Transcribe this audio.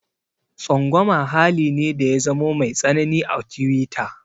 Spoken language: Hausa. Tsangwama hali ne da ya zamo mai tsanani a tiwita.